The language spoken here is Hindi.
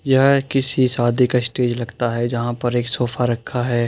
यह किसी शादी का स्टेज लगता है। जहाँ पर एक सोफा रखा है।